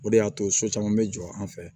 O de y'a to so caman bɛ jɔ an fɛ